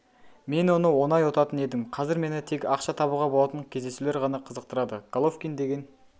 мен оны оңай ұтатын едім қазір мені тек ақша табуға болатын кездесулер ғана қызықтырады головкин деген